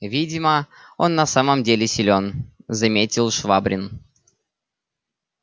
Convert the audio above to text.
видно он в самом деле силен заметил швабрин